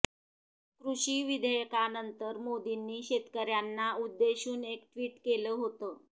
कृषी विधेयकानंतर मोदींनी शेतकऱ्यांना उद्देशून एक ट्विट केलं होतं